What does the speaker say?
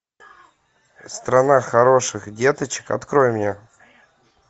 страна хороших деточек открой мне